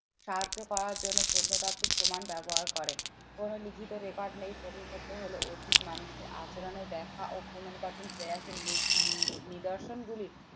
সাহায্য পাওয়ার জন্য প্রত্নতাত্ত্বিক প্রমাণ ব্যবহার করেন। কোনো লিখিত record নেই প্রত্নতত্ত্ব হলো অতীত মানুষের আচরণের ব্যাখ্যা ও পুনর্গঠন প্রয়াস এর নি নিদর্শন গুলি